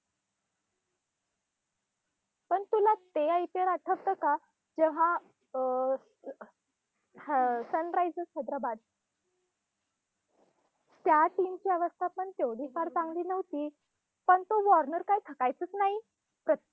पण तुला ते IPL आठवतं का? जेव्हा अं हा सनरायझर्स हैदराबाद त्या team ची अवस्था पण तेवढी फार चांगली नव्हती पण तो वॉर्नर काही थकायचाचं नाही.